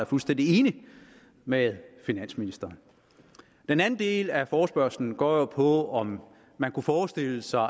fuldstændig enige med finansministeren den anden del af forespørgslen går jo på om man kunne forestille sig